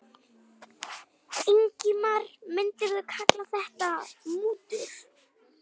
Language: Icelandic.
Ingimar: Myndirðu kalla þetta mútur?